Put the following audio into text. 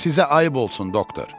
Sizə ayb olsun doktor.